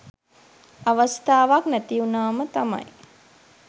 අවස්ථාවක් නැති උනාම තමයි